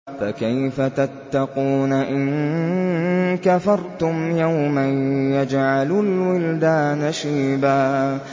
فَكَيْفَ تَتَّقُونَ إِن كَفَرْتُمْ يَوْمًا يَجْعَلُ الْوِلْدَانَ شِيبًا